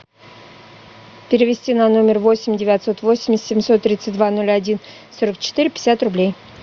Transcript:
перевести на номер восемь девятьсот восемь семьсот тридцать два ноль один сорок четыре пятьдесят рублей